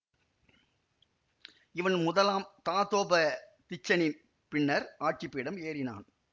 இவன் முதலாம் தாதோப திச்சனின் பின்னர் ஆட்சி பீடம் ஏறினான்